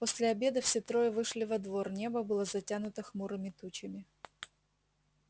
после обеда все трое вышли во двор небо было затянуто хмурыми тучами